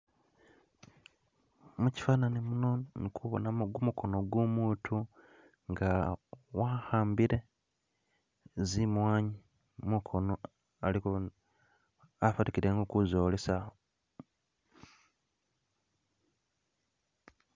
mukyifanani muno ndi kubonamu mukono gwomuntu nga wahambile zimwanyi mukono aliko abonekele nga ulikuzolesa